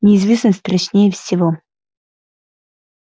неизвестность страшнее всего